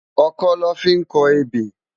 Òkõ lõ fi n kò ébé